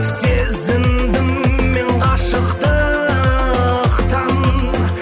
сезіндім мен ғашықтықтан